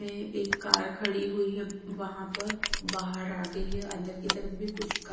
ये एक कार खड़ी हुई हैं वहाँ पर बाहर आ गई हैं अंदर की तरफ भीं कुछ--